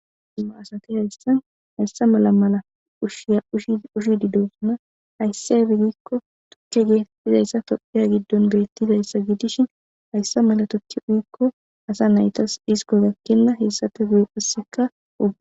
Asati hayssan haysa mala mala ushsha ushshidi dossona hayssi aybbe giiko tuuke gettetizayssa tophphiya giddon bettizayssa gidishin hayssa mala tuuke uyikko asa naytas dhissiko geththenna hessape guye qasseka ubba--